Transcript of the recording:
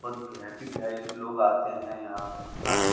बत भी वी.आई.पी. भी आई लोग आते हैं यहाँ खाने --